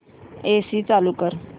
AC चालू कर